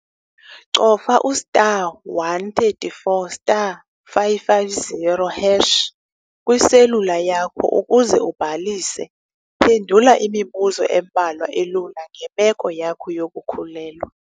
Cofa u-*134*550# kwiselula yakho ukuze ubhalise. Phendula imibuzo embalwa elula ngemeko yakho yokukhulelwa.